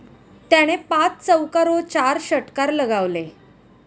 त्याने पाच चौकार व चार षटकार लगावले.